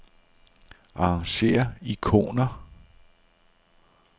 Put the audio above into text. Arrangér ikoner.